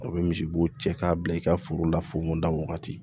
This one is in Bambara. A bɛ misibo cɛ k'a bila i ka foro la fonon da wagati